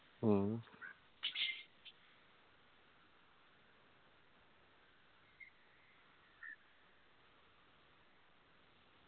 മ്മ്